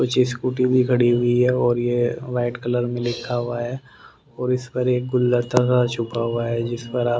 कुछ स्कूटी भी खड़ी हुई है और ये वाइट कलर में लिखा हुआ है और इस पर एक गुलदस्ता सा छुपा हुआ है जिस पर आप--